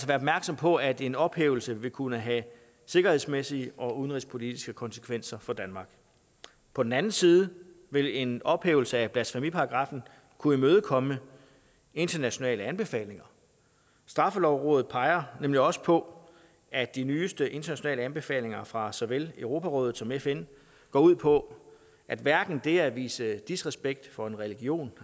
være opmærksom på at en ophævelse vil kunne have sikkerhedsmæssige og udenrigspolitiske konsekvenser for danmark på den anden side vil en ophævelse af blasfemiparagraffen kunne imødekomme internationale anbefalinger straffelovrådet peger nemlig også på at de nyeste internationale anbefalinger fra såvel europarådet som fn går ud på at hverken det at vise disrespekt for en religion